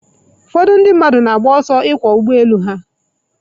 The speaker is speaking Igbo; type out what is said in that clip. Ụfọdụ ndị mmadụ na-agba ọsọ ịkwọ ụgbọ elu ha.